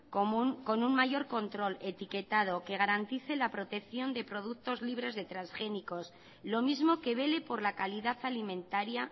con un mayor control etiquetado que garantice la protección de productos libres de transgénicos lo mismo que vele por la calidad alimentaria